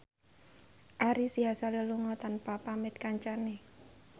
Ari Sihasale lunga tanpa pamit kancane